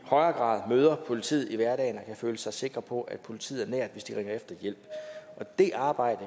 grad møder politiet i hverdagen og kan føle sig sikre på at politiet er nært hvis de ringer efter hjælp det arbejde